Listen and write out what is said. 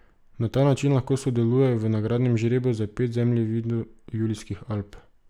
Na ta način lahko sodelujejo v nagradnem žrebu za pet zemljevidov Julijskih Alp.